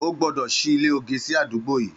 Ó gbọdọ ṣi ilé ógé si ádùgbó yi